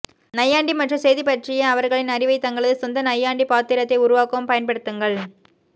நையாண்டி மற்றும் செய்தி பற்றிய அவர்களின் அறிவைத் தங்களது சொந்த நையாண்டிப் பாத்திரத்தை உருவாக்கவும் பயன்படுத்துங்கள்